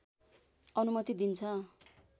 अनुमति दिन्छ